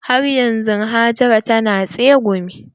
Har yanzu Hajara ta na tsegumi.